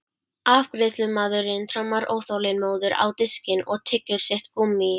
Afgreiðslumaðurinn trommar óþolinmóður á diskinn og tyggur sitt gúmmí.